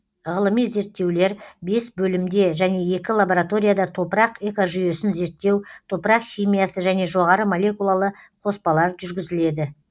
ғылыми зерттеулер бес бөлімде және екі лабораторияда топырақ экожүйесін зерттеу топырақ химиясы және жоғары молекулалы қоспалар жүргізіледі